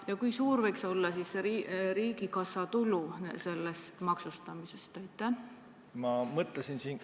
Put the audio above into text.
Ja kui suur võiks olla riigikassa tulu sellest maksustamisest?